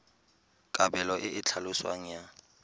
kabelo e e tlhaloswang ya